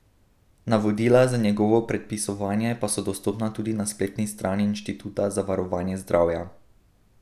Navodila za njegovo predpisovanje pa so dostopna tudi na spletni strani Inštituta za varovanje zdravja.